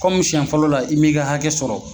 Kɔmu sɛn fɔlɔ la i m'i ka hakɛ sɔrɔ.